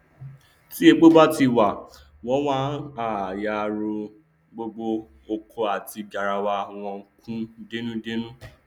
tí epo bá ti wà wọn á yáa rọ gbogbo ọkọ àti garawa wọn kún dẹmúdẹmú